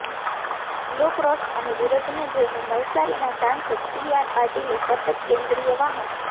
લોક રોષ અને વિરોધને જોઈને નવસારીના સાંસદ સી આર પાટીલે સતત કેન્દ્રીય વાહન